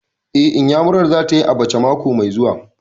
Eh, Iyamurar za ta yi abacha mako mai zuwa